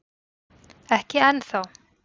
Ekki enn þá